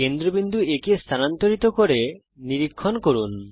কেন্দ্রবিন্দু A কে স্থানান্তরিত করুন এবং নিরীক্ষণ করুন